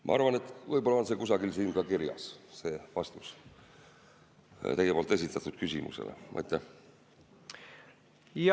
Ma arvan, et võib-olla on vastus teie esitatud küsimusele kusagil siin ka kirjas.